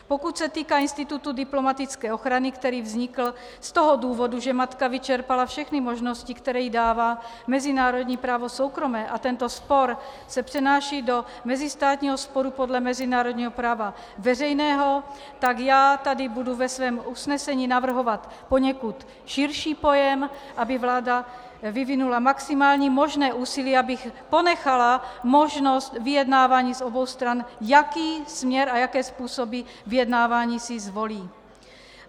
Pokud se týká institutu diplomatické ochrany, který vznikl z toho důvodu, že matka vyčerpala všechny možnosti, které jí dává mezinárodní právo soukromé, a tento spor se přenáší do mezistátního sporu podle mezinárodního práva veřejného, tak já tady budu ve svém usnesení navrhovat poněkud širší pojem, aby vláda vyvinula maximální možné úsilí, aby ponechala možnost vyjednávání z obou stran, jaký směr a jaké způsoby vyjednávání si zvolí.